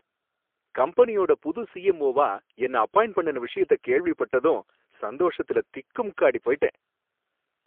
கம்பெனியோட புது சிஎம்ஓவா என்ன அப்பாயிண்ட் பண்ணுன விஷயத்த கேள்விப்பட்டதும் சந்தோஷத்துல திக்குமுக்காடிப் போயிட்டேன்